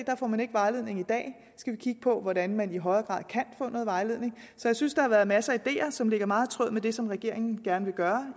her får man ikke vejledning i dag vi skal kigge på hvordan man i højere grad kan få noget vejledning så jeg synes der har været masser af ideer som ligger meget i tråd med det som regeringen gerne vil gøre